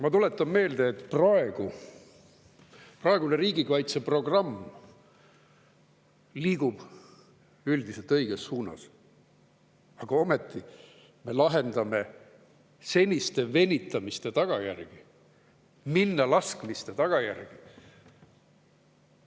Ma tuletan meelde, et praegune riigikaitseprogramm liigub üldiselt õiges suunas, aga ometi me lahendame seniste venitamiste, minnalaskmiste tagajärgi.